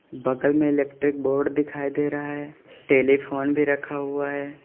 बगल में electric board दिखाई दे रहा है टेलीफोन भी रखा हुआ है।